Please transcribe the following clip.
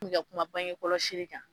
ka kuma bange kɔlɔsili kan.